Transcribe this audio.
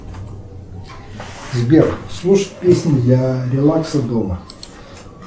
сбер слушать песни для релакса дома